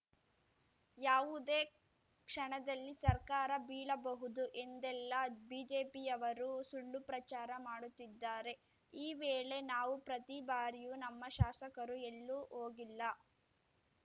ಯಾವುದೇ ಕ್ಷಣದಲ್ಲಿ ಸರ್ಕಾರ ಬೀಳಬಹುದು ಎಂದೆಲ್ಲಾ ಬಿಜೆಪಿಯವರು ಸುಳ್ಳು ಪ್ರಚಾರ ಮಾಡುತ್ತಿದ್ದಾರೆ ಈ ವೇಳೆ ನಾವು ಪ್ರತಿ ಬಾರಿಯೂ ನಮ್ಮ ಶಾಸಕರು ಎಲ್ಲೂ ಹೋಗಿಲ್ಲ